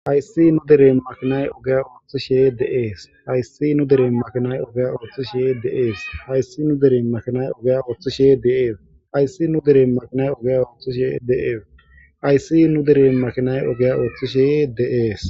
Hayssi nu deren makinay ogiya ooththishe de7ees. Hayssi nu deren makinay ogiya oothishe de7ees. Hayssi nu deren makinay ogeya ooththishe de7ee. Hayssi nu deren makinay ogiya ooththishe de7ees. Hayssi nu deren makinay ogiya ooththishe de7ees.